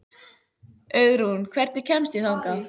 Auðrún, hvernig kemst ég þangað?